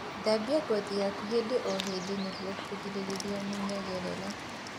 Thambia ngothi yaku hĩndĩ o hĩndĩ nĩguo kũgirĩrĩrĩa mũnyegerera